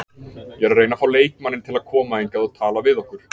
Ég er að reyna að fá leikmanninn til að koma hingað og tala við okkur.